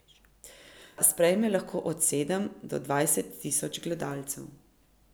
Sprejme lahko od sedem do dvajset tisoč gledalcev.